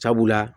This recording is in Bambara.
Sabula